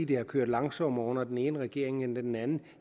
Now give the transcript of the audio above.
det har kørt langsommere under den ene regering end under den anden